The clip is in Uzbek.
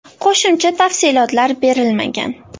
Qo‘shimcha tafsilotlar berilmagan.